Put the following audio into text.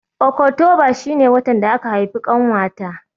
Okotoba shi ne watan da aka haifi ƙanwata